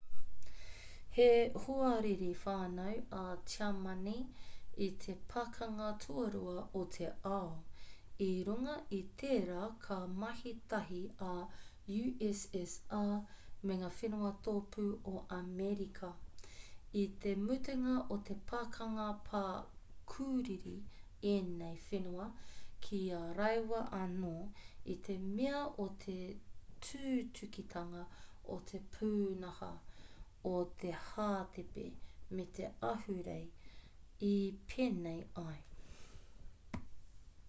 he hoariri whānui a tiamani i te pakanga tuarua o te ao i runga i tērā ka mahi tahi a ussr me ngā whenua tōpū o amerika i te mutunga o te pakanga ka pukuriri ēnei whenua ki a rāua anō i te mea o te tūtukitanga o te pūnaha o te hātepe me te ahurea i pēnei ai